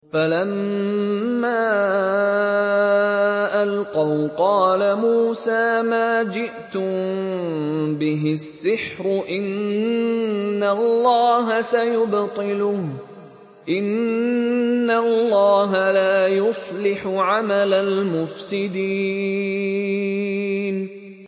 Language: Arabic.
فَلَمَّا أَلْقَوْا قَالَ مُوسَىٰ مَا جِئْتُم بِهِ السِّحْرُ ۖ إِنَّ اللَّهَ سَيُبْطِلُهُ ۖ إِنَّ اللَّهَ لَا يُصْلِحُ عَمَلَ الْمُفْسِدِينَ